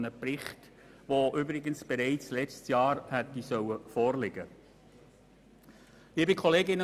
Der nächste Bericht wird ohnehin bald kommen.